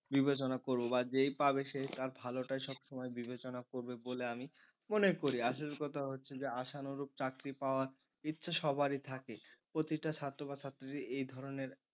বিবেচনা করব বা যেই পাবে সেই তার ভালোটাই সবসময় বিবেচনা করবে বলে আমি মনে করি, আসল কথা হচ্ছে যে আশানুরূপ চাকরি পাওয়ার ইচ্ছা সবারই থাকে প্রতিটা ছাত্র বা ছাত্রী এই ধরনের এই ধরনের,